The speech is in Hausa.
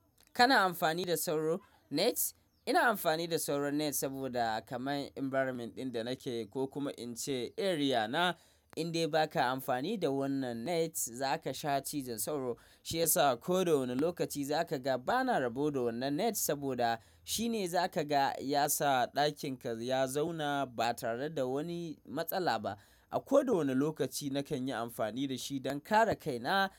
Kana amfani da sauro net? Ina amfani da sauro net saboda kamar environment ɗin da nake ko kuma in ce area na, indai baka amfani da wannan net, zaka sha cizon sauro. Shiyasa a koda wane lokaci zaka ga bana rabo da wannan net saboda shine zaka ga yasa ɗakinka ya zauna ba tare da wani matsala ba. A koda wane lokaci nakan yi amfani da shi don kare kaina.